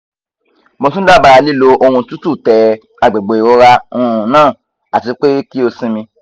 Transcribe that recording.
mo tun daba lilo ohun tutu te agbegbe irora um naa atipe ki o sinmi